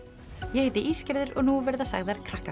ég heiti og nú verða sagðar